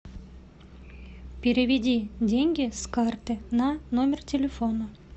переведи деньги с карты на номер телефона